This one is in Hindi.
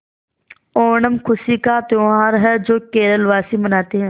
ओणम खुशी का त्यौहार है जो केरल वासी मनाते हैं